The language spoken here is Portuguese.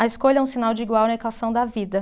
A escolha é um sinal de igual na equação da vida.